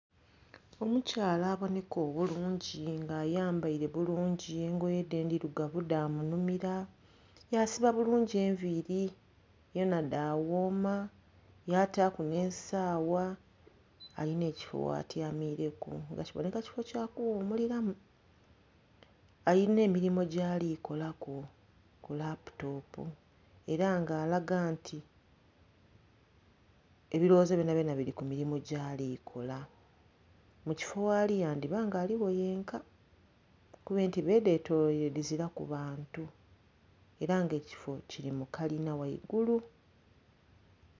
Omukyala aboneka obulungi nga ayambaire bulungi engoye dhe endhirugavu dha munhumira yasiba bulungi enviiri dhona dhaghoma yaataku n'esaawa alina ekifo ghatyamireku nga kiboneka kifo kyakughumuliramu. Alina emirimo gyali kolaku ku laputopu era nga alaga nti ebilowozo byonabyona biri ku mirimo gyali kola. Mu kifo ghali yandhiba nga aligho yenka kuba entebe edhetoloire dhiziraku bantu era nga ekifo kiri mu kalina ghaigulu.